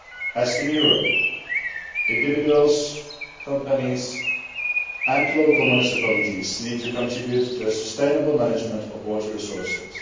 As in Europe, individuals, companies and local municipalities need to contribute to the sustainable management of water resources.